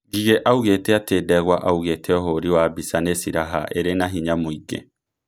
Gigi augĩte atĩ Ndegwa augĩte ũhũri wa mbica nĩ siraha ĩrĩ na hinya mũingi